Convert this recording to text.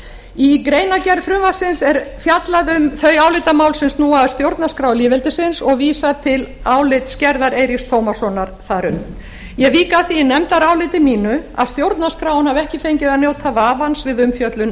í greinargerð frumvarpsins er fjallað um þau álitamál sem snúa að stjórnarskrá lýðveldisins og vísa til álitsgerðar eiríks tómassonar þar um ég vík að því í nefndaráliti mínu að stjórnarskráin hafi ekki fengið að njóta vafans við umfjöllun